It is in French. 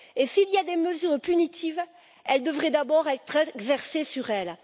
S'il y a des mesures punitives, elles devraient d'abord être exercées sur elles.